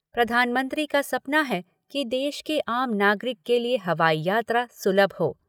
प्रधानमंत्री का सपना है कि देश के आम नागरिक के लिए हवाई यात्रा सुलभ हो।